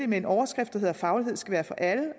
med en overskrift der hedder faglighed skal være for alle